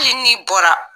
Hali n'i bɔra